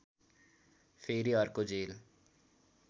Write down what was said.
फेरि अर्को जेल